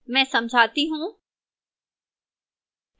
मैं समझाती हूं